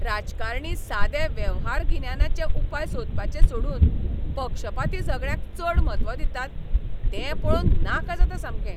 राजकारणी सादे वेव्हारगिन्यानाचे उपाय सोदपाचें सोडून पक्षपाती झगड्यांक चड म्हत्व दितात तें पळोवन नाका जाता सामकें.